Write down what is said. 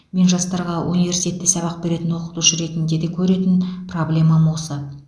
мен жастарға университетте сабақ беретін оқытушы ретінде де көретін проблемам осы